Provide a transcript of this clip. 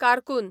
कारकून